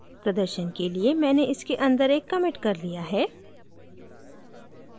प्रदर्शन के लिए मैंने इसके अंदर एक commit कर लिया है